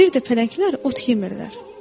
Bir də pələnglər ot yemirlər.